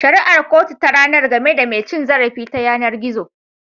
Shari'ar kotu ta ranar game da mai cin zarafi ta yanar gizo.